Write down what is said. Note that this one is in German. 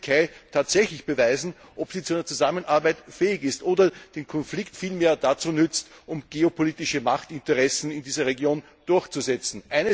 Hier kann die Türkei tatsächlich beweisen, ob sie zu einer Zusammenarbeit fähig ist oder den Konflikt vielmehr dazu nutzt, um geopolitische Machtinteressen in dieser Region durchzusetzen.